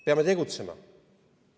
Peame tegutsema.